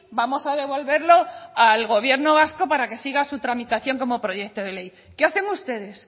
vamos a devolverlo al gobierno vasco para que siga su tramitación como proyecto de ley qué hacen ustedes